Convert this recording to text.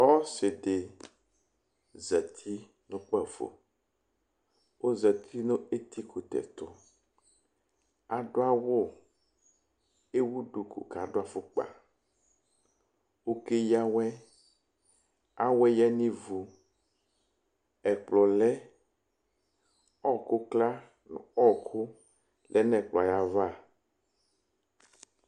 ɔsidi zɛti nʋ kpafo ɔzeti nu ɛti kutɛ tʋ adʋ awʋ ɛwʋ dʋkʋ kʋ adʋ aƒukpa ɔkɛya awɛ awɛ ya ni iɣʋ ɛkpulɔ lɛ ɔkʋ kla nʋ ɔkʋ lɛ nʋ ɛkʋlɔ aɣa